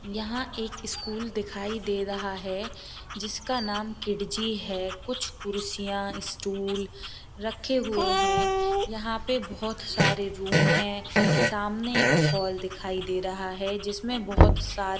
यहां एक स्कूल दिखाई दे रहा है जिसका नाम किडजी है। कुछ कुर्सियां स्टूल रखे हुए हैं। यहां पे बोहोत सारे रूम है। सामने एक हॉल दिखाई दे रहा है जिसमें बहोत सारे --